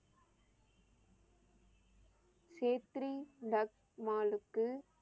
சேத்திரி டக் மாலுக்கு